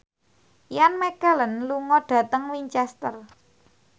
Ian McKellen lunga dhateng Winchester